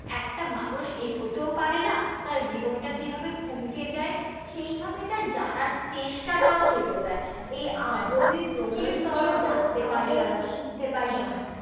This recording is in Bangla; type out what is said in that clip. একটা মানুষ এগোতেও পারে না, তার জীবনটা যেইভাবে থমকে যায় সেইভাবে তার জানার চেষ্টাটাও চলে যায়, এই আগ্রহের জন্যই কি আসলে কি বলো তো, আমরা জানতে পারি আমরা শিখতে পার, একদম একদম।